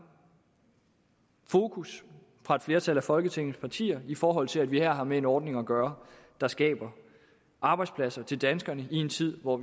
fokus fra et flertal af folketingets partier i forhold til at vi her har med en ordning at gøre der skaber arbejdspladser til danskerne i en tid hvor